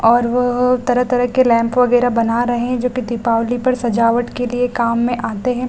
और वह तरह-तरह के लैंप वगैरह बना रहे हैं जो कि दीपावली पर सजावट के लिए काम में आते हैं।